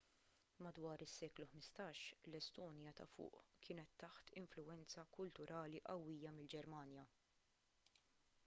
madwar is-seklu 15 l-estonja ta' fuq kienet taħt influwenza kulturali qawwija mill-ġermanja